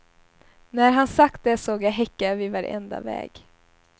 När han sagt det såg jag häckar vid varenda väg.